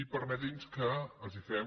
i permeti’ns que els fem